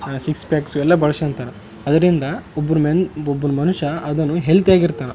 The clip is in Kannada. ಸಿಕ್ಸ್ ಪ್ಯಾಕ್ ಎಲ್ಲ ಬಳೊಸೊಂತಾರ ಅದರಿಂದ ಒಬ್ಬರು ಮೆನ್‌ ಒಬ್ಬ ಮನುಷ್ಯ ಅದನ್ನು ಹೆಲ್ದಿ ಆಗಿ ಇರ್ತಾರ.